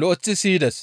lo7eththi siyides.